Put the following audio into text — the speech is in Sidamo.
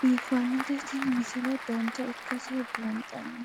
biiffannote tini misile dancha ikkase buunxanni